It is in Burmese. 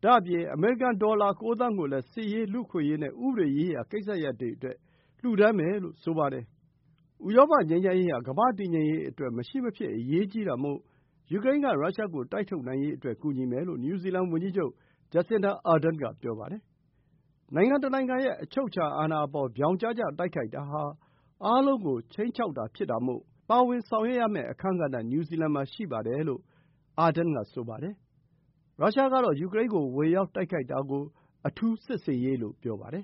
။ ဒါ့အပြင် အမေရိကန် ဒေါ်လာ ၉ သန်းကိုလည်း စစ်ရေး၊ လူ့အခွင့်အရေးနဲ့ ဥပဒေရေးရာကိစ္စရပ်တွေအတွက် လှူဒန်းမယ်လို့ ဆိုပါတယ်။ ဥရောပ ငြိမ်းချမ်းရေးဟာ ကမ္ဘာ့တည်ငြိမ်ရေးအတွက် မရှိမဖြစ်အရေးကြီးတာမို့ ယူကရိန်းက ရုရှားကို တိုက်ထုတ်နိုင်ရေးအတွက် ကူညီမယ်လို့ နယူးဇီလန်ဝန်ကြီးချုပ် Jacinda Ardern က ပြောပါတယ်။ နိုင်ငံတနိုင်ငံရဲ့ အချုပ်အခြာအာဏာအပေါ် ပြောင်ကျကျတိုက်ခိုက်တာဟာ အားလုံးကို ခြိမ်းခြောက်တာ ဖြစ်တာမို့ ပါဝင်ဆောင်ရွက်ရမယ့် အခန်းကဏ္ဍ နယူးဇီလန်မှာရှိတယ်လို့ Ardern က ဆိုပါတယ်။ ရုရှားကတော့ ယူကရိန်းကို ဝင်ရောက်တိုက်ခိုက်တာကို အထူးစစ်ဆင်ရေးလို့ ပြောပါတယ်